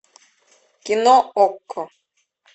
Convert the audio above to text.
кино окко